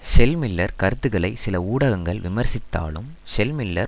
shell Miller கருத்துக்களை சில ஊடகங்கள் விமர்சித்திருந்தாலும் ஷெல் மில்லர்